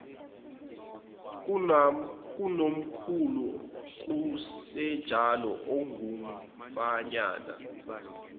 kunomkhulu kusenjalo okungumfanyana